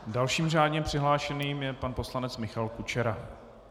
Dalším řádně přihlášeným je pan poslanec Michal Kučera.